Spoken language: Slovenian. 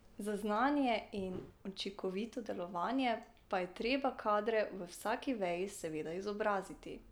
Za znanje in učinkovito delovanje pa je treba kadre v vsaki veji seveda izobraziti.